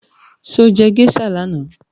Sọ jẹ́ geisha lánàá?